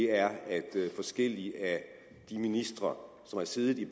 er at forskellige ministre som har siddet i